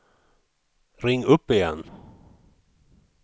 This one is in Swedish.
ring upp igen